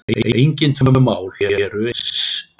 Engin tvö mál eru eins.